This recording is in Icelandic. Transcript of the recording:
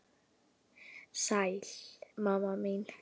Sæl, mamma mín.